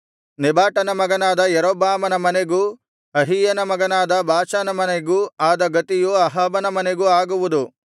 ನೆಬಾಟನ ಮಗನಾದ ಯಾರೊಬ್ಬಾಮನ ಮನೆಗೂ ಅಹೀಯನ ಮಗನಾದ ಬಾಷನ ಮನೆಗೂ ಆದ ಗತಿಯು ಅಹಾಬನ ಮನೆಗೂ ಆಗುವುದು